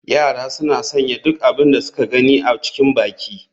Yara suna sanya duk abin da suka gani a cikin baki.